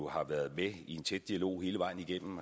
har været i tæt dialog hele vejen igennem